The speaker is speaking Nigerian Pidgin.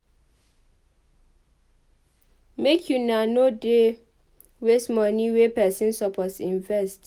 Make una nor dey waste moni wey pesin suppose invest.